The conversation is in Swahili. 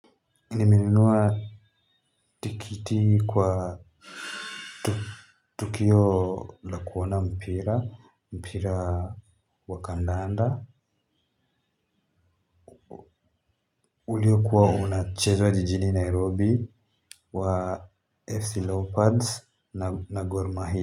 Nimenunua tikiti kwa tukio la kuona mpira, mpira wa kandanda. Uliyokuwa unachezwa jijini Nairobi wa FC Leopards na Gormahia.